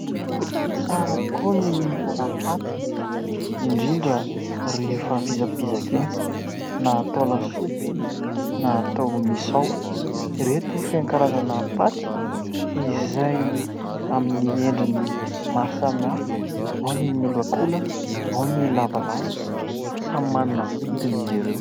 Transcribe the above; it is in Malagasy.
Tsara tokoa ny mihinana paty indrindra rehefa vizabizaka iny na atao lasopy na atao misao. Ireto feno karazana paty izay amin'ny endriny maro samihafa ao ny miolakolana ao ny lavalava samy manana vidina izy ireo.